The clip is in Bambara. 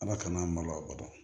Ala kana a malo o don